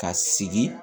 Ka sigi